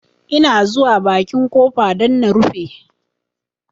Ina zuwa bakin ƙofa don na rufe